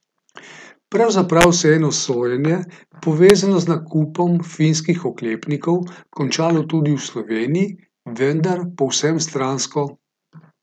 Pravzaprav se je eno sojenje, povezano z nakupom finskih oklepnikov, končalo tudi v Sloveniji, vendar povsem stransko.